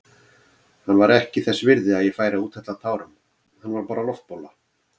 Hann var ekki þess virði að ég færi að úthella tárum, hann var bara loftbóla.